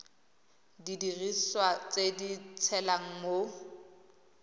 didiriswa tse di tshelang mo